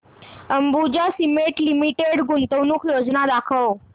Ambuja cement limited गुंतवणूक योजना दाखव